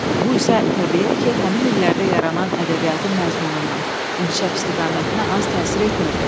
Bu isə təbiidir ki, həmin illərdə yaranan ədəbiyyatın məzmununa, inkişaf istiqamətinə az təsir etmirdi.